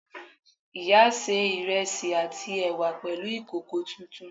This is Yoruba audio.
Ìyá sé ìrẹsì àti ẹ̀wà pẹ̀lú ìkòkò tuntun